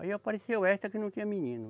Aí apareceu esta que não tinha menino.